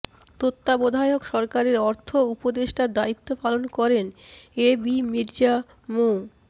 তত্ত্বাবধায়ক সরকারের অর্থ উপদেষ্টার দায়িত্ব পালন করেন এ বি মির্জা মো